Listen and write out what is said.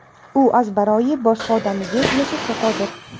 U azbaroyi boshqa odamni deb yashashga qodir.